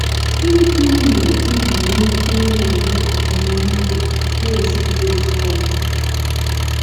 Gịnị ka unu mere iji nwee ike ịna - enwe ọmụmụ ihe unu, na - ezikwa oziọma?